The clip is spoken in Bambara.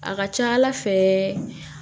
A ka ca ala fɛ